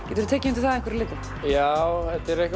geturðu tekið undir það að einhverju leyti já